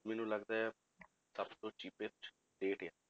ਮੈਨੂੰ ਲੱਗਦਾ ਹੈ ਸਭ ਤੋਂ cheapest state ਆ,